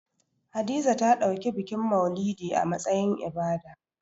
Hadiza ta ɗauki bikin maulidi a matsayin ibada